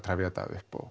upp